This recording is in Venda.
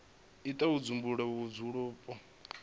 u itela u dzumbulula vhudzulapo